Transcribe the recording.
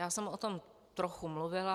Já jsem o tom trochu mluvila.